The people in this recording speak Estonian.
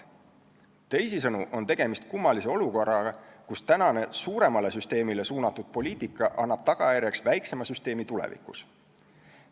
Teisisõnu on tegemist kummalise olukorraga, kus tänane suuremale süsteemile suunatud poliitika annab tagajärjeks väiksema süsteemi tulevikus.